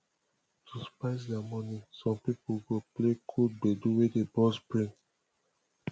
to spice their morning some pipo go play cool gbedu wey dey burst brain